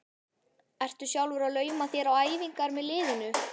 Ertu sjálfur að lauma þér á æfingar með liðinu?